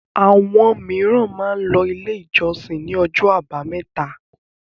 Àwọn mìíràn máa ń lọ Ilé-ìjọsìn ní ọjọ́ àbámẹ́ta.